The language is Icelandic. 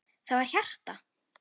Það var hjarta!